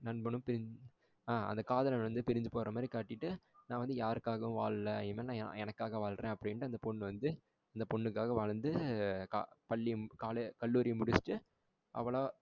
நண்பனும் பிரிஞ்சி ஆ அந்த காதலனும் பிரிஞ்ச மாதிரி காட்டிவிட்டு நான் யாருக்காகவும் வாழல இனிமேல் நா எனக்காக வாழுறேன். அப்படின்னுட்டு அந்த பொண்ணு வந்து அந்த பெண்ணுக்காக வாழ்ந்து பள்ளியை கா கல்லூரியை முடிச்சுட்டு அவளா